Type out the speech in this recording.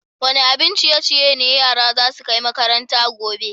Wani abin ciye-ciye ne yaran za su kai makaranta gobe?